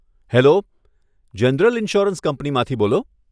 Hello, general insurance કંપનીમાંથી બોલો?